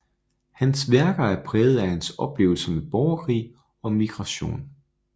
Hans værker er præget af hans oplevelser med borgerkrig og migration